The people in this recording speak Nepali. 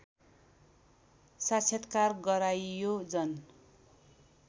साक्षात्कार गराइयो जन